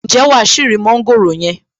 Ǹjẹ́ wàá ṣì rí mọ́ńgòrò yẹn?